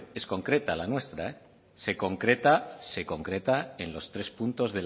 es concreta la nuestra se concreta se concreta en los tres puntos